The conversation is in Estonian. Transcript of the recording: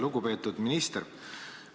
Lugupeetud minister!